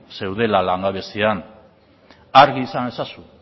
zeudela langabezian argi izan ezazu